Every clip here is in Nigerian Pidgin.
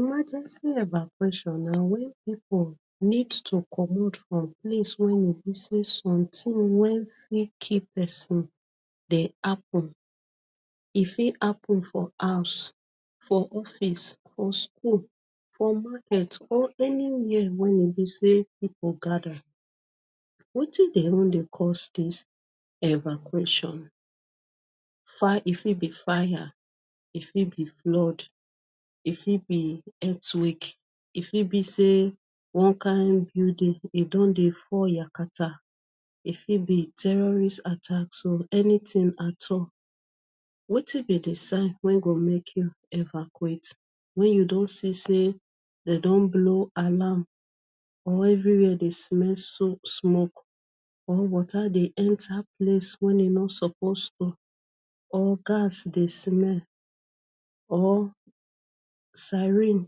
Emergency evacuation na wen pipu need to comot from place wey e be say, somtin wey fit kill pesin dey happun. E fit happun for house, for office, for school, for market, or anywia wey e be say pipu gather. Wetin dey even dey cause dis evacuation? E fit be fire, e fit be flood, e fit be earthquake, fit be say one kain building don dey fall yakata. E fit be terrorist attack so anytin at all. So, wetin be di sign wey go make you evacuate? Wen you don see say dem don blow alarm or evri wia dey smell smoke or water dey enta place wen e no suppose dey or has smell or siren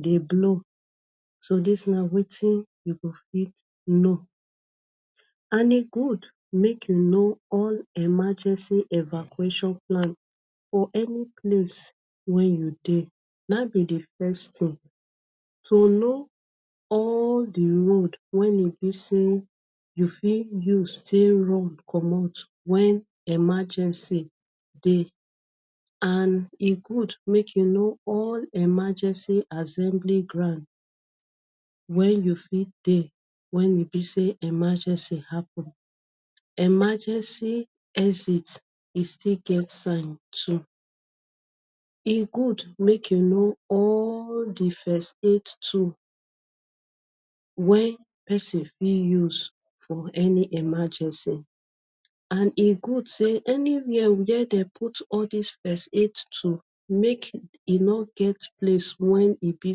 dey blow so dis na wetin you go fit know. And e good make you know all emergency evacuation plan for any place wey you dey. Na em be di first tin to know all di road wen e be say you fit use take run comot wen emergency dey. And e good make you know all emergency assembly ground wey you fit dey wen e be say emergency happun. Emergency exit e still get sign too. E good make you know all di first aid tools wey pesin fit use for any emergency. And e good say anywia wia dem put all dis first aid tool make e no get place wen e be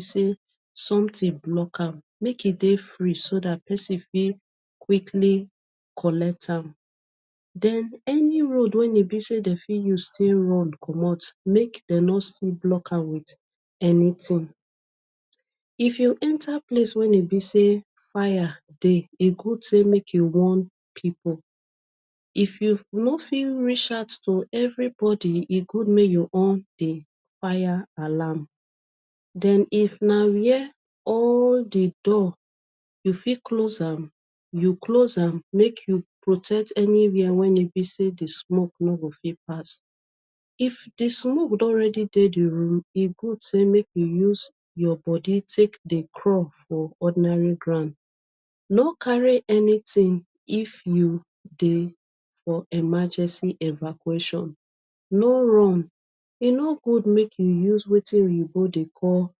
say somtin block am. Make e dey free so dat pesin fit quickly connect am. Den any road wey e be say dem fit use still run comot make dem no still block am wit anytin. If you enta place wey e be say fire dey, e good say make you warn pipu. If you no fit reach out to evribodi, e good make you on di fire alarm. Den if na wia all di door, you fit close am, you close am make you protect anywia wen e be say di smoke no go fit pass. If di smoke don ready dey, e good say make you use your bodi take dey crawl for ordinary ground. No carry anytin if you dey for emergency evacuation. No room. E no good make you use wetin oyinbo dey call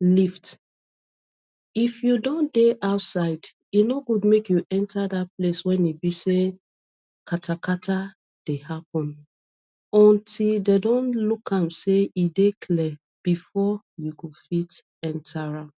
lift. If you don dey outside, e no good make you enta dat place wen e be say katakata dey happun until dem don look am say e dey clear bifor you go fit enta am.